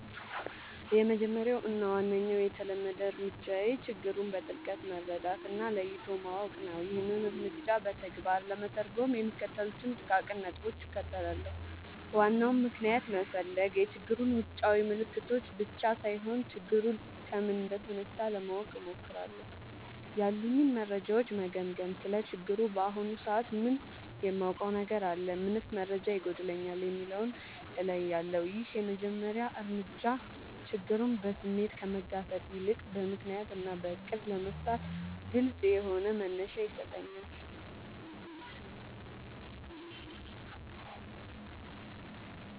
—የመጀመሪያው እና ዋነኛው የተለመደ እርምጃዬ ችግሩን በጥልቀት መረዳት እና ለይቶ ማወቅ ነው። ይህንን እርምጃ በተግባር ለመተርጎም የሚከተሉትን ጥቃቅን ነጥቦች እከተላለሁ፦ ዋናውን ምክንያት መፈለግ፣ የችግሩን ውጫዊ ምልክቶች ብቻ ሳይሆን፣ ችግሩ ከምን እንደተነሳ ለማወቅ እሞክራለሁ። ያሉኝን መረጃዎች መገምገም: ስለ ችግሩ በአሁኑ ሰዓት ምን የማውቀው ነገር አለ? ምንስ መረጃ ይጎድለኛል? የሚለውን እለያለሁ። ይህ የመጀመሪያ እርምጃ ችግሩን በስሜት ከመጋፈጥ ይልቅ በምክንያት እና በዕቅድ ለመፍታት ግልጽ የሆነ መነሻ ይሰጠኛል።